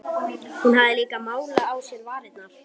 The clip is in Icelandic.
Hún hafði líka málað á sér varirnar.